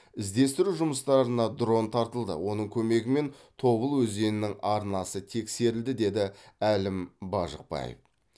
іздестіру жұмыстарына дрон тартылды оның көмегімен тобыл өзенінің арнасы тексерілді деді әлім бажықбаев